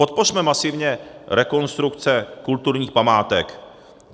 Podpořme masivně rekonstrukce kulturních památek.